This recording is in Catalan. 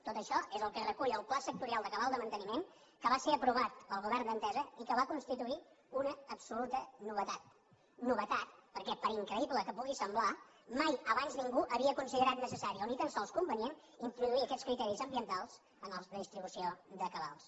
tot això és el que recull el pla sectorial de cabal de manteniment que va ser aprovat pel govern d’entesa i que va constituir una absoluta novetat novetat perquè per increïble que pugui semblar mai abans ningú havia considerat necessari o ni tan sols convenient introduir aquests criteris ambientals en els de distribució de cabals